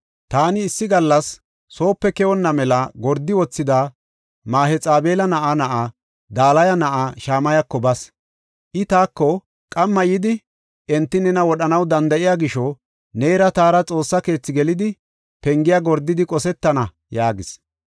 Taani issi gallas soope keyonna mela gordi wothida Mahexabeela na7aa na7aa Dalaya na7aa Shamayako bas. I taako, “Qamma yidi enti nena wodhanaw danda7iya gisho neera taara Xoossa keethi gelidi, pengiya gordidi qosetana” yaagis.